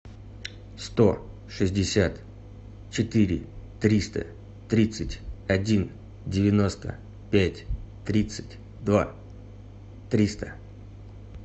сто шестьдесят четыре триста тридцать один девяносто пять тридцать два триста